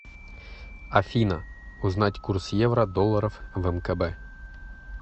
афина узнать курс евро долларов в мкб